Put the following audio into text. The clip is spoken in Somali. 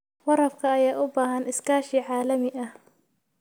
Waraabka ayaa u baahan iskaashi caalami ah.